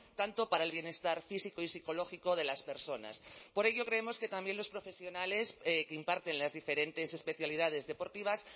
tanto para el bienestar físico y psicológico de las personas por ello creemos que también los profesionales que imparten las diferentes especialidades deportivas